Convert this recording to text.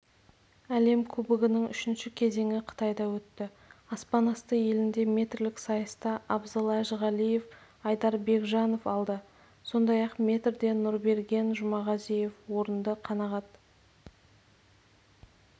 әлем кубогының үшінші кезеңі қытайда өтті аспанасты елінде метрлік сайыста абзал әжіғалиев айдар бекжанов алды сондай-ақ метрде нұрберген жұмағазиев орынды қанағат